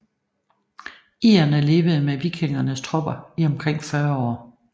Irerne levede med vikingernes tropper i omkring 40 år